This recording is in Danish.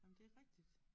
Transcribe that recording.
Ej men det rigtigt